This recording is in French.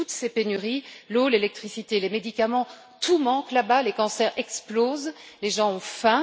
Et puis toutes ces pénuries, l'eau, l'électricité, les médicaments, tout manque là bas, les cancers explosent, les gens ont faim